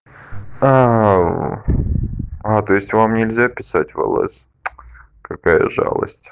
аа а то есть вам нельзя писать в лс какая жалость